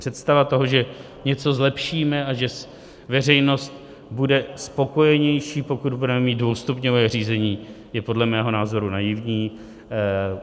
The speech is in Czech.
Představa toho, že něco zlepšíme a že veřejnost bude spokojenější, pokud budeme mít dvoustupňové řízení, je podle mého názoru naivní.